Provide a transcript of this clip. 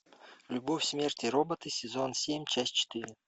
любовь смерть и роботы сезон семь часть четыре